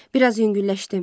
Bir az yüngülləşdim.